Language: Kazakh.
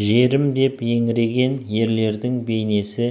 жерім деп еңіреген ерлердің бейнесі